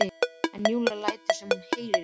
En Júlía lætur sem hún heyri ekki.